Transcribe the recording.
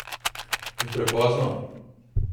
Je prepozno?